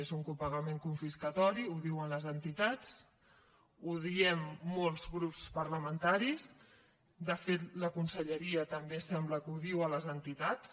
és un copagament confiscatori ho diuen les entitats ho diem molts grups parlamentaris de fet la conselleria també sembla que ho diu a les entitats